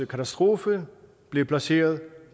katastrofe blev placeret